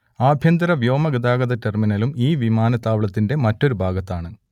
ആഭ്യന്തര വ്യോമഗതാഗത ടെർമിനലും ഈ വിമാനത്താവളത്തിന്റെ മറ്റൊരു ഭാഗത്താണ്